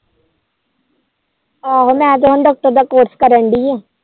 ਆਹੋ ਮੈ ਤੋਂ ਹੁਣ Doctor ਦਾ ਕੋਰਸ ਕਰੰਡੀ ਆ